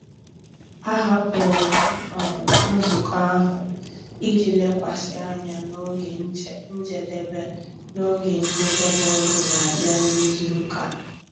Ahapụrụ m um nzukọ ahụ iji lekwasị anya na oge njedebe na oge njedebe ọrụ na-abịa n'izu ụka a.